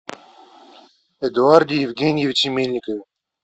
эдуарде евгеньевиче мельникове